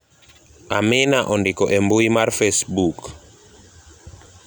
amina ondiko e mbui mar facebook